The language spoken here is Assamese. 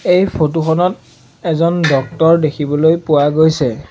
এই ফটোখনত এজন ডক্টৰ দেখিবলৈ পোৱা গৈছে।